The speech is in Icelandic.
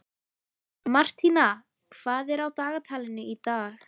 Martína, hvað er á dagatalinu í dag?